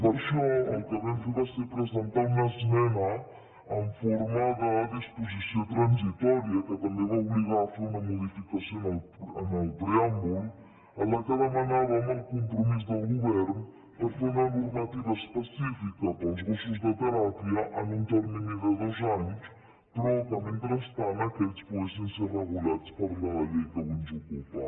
per això el que vam fer va ser presentar una esmena en forma de disposició transitòria que també va obligar a fer una modificació en el preàmbul en la qual demanàvem el compromís del govern per fer una normativa específica per als gossos de teràpia en un termini de dos anys però que mentrestant aquests poguessin ser regulats per la llei que avui ens ocupa